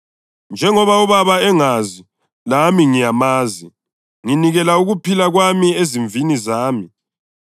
njengoba uBaba engazi lami ngiyamazi, nginikela ukuphila kwami ezimvini zami.